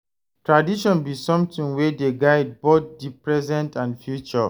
Tradition bi somtin wey dey guide both di present and future.